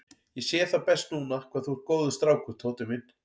Ég sé það best núna hvað þú ert góður strákur, Tóti minn.